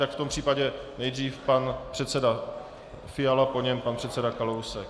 Tak v tom případě nejdřív pan předseda Fiala, po něm pan předseda Kalousek.